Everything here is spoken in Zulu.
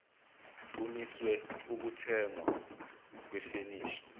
kumiswe ukuthengwa kwefenisha